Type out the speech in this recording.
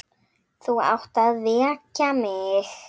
Þú átt að vekja mig.